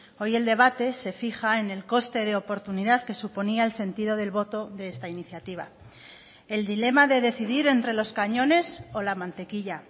hoy el debate se fija en el coste de oportunidad que suponía el sentido del voto de esta iniciativa el dilema de decidir entre los cañones o la mantequilla